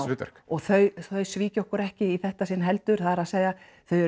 hlutverk og þau svíkja okkur ekki í þetta sinn heldur það er að segja